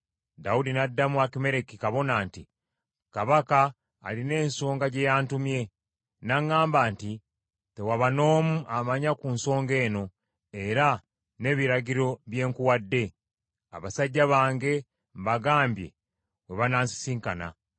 Dawudi n’addamu Akimereki kabona nti, “Kabaka alina ensonga gye yantumye, n’aŋŋamba nti, ‘Tewaba n’omu amanya ku nsonga eno, era n’ebiragiro bye nkuwadde.’ Abasajja bange mbagambye we banansisinkana.